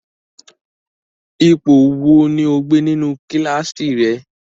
Ipo wo ni o gbe ninu kilasi rẹ?